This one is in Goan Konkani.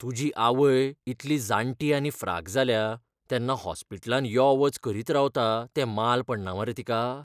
तुजी आवय इतली जाणटी आनी फ्राक जाल्या तेन्ना हॉस्पिटलांत यो वच करीत रावता तें माल पडना मरे तिका?